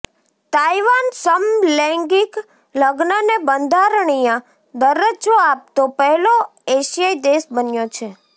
Taiwan સમલૈંગિક લગ્નને બંધારણીય દરજ્જો આપતો પહેલો એશિયાઈ દેશ બન્યો છે